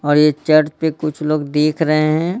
और ये चैट पे कुछ लोग देख रहे हैं।